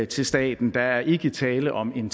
til staten der er ikke tale om en